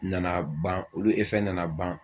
Nana ban , olu nana ban,